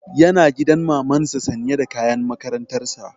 Yana gidan maman sa sanye da kayan makarantar sa